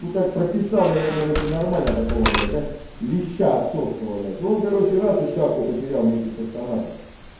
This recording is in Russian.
ну так прописал я ему короче нормально такого блять знаешь леща отцовского блять ну он короче раз и шапку потерял вместе с автоматом